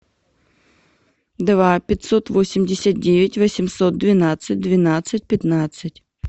два пятьсот восемьдесят девять восемьсот двенадцать двенадцать пятнадцать